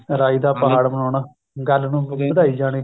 ਰਾਹੀ ਦਾ ਪਹਾੜ ਬਣਾਉਣਾ ਗੱਲ ਨੂੰ ਵਧਾਈ ਜਾਣੇ